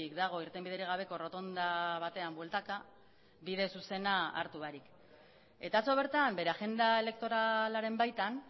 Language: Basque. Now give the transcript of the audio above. dago irtenbiderik gabeko errotonda batean bueltaka bide zuzena hartu barik eta atzo bertan bere agenda elektoralaren baitan